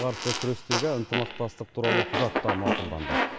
қарсы күрестегі ынтымақтастық туралы құжат та мақұлданды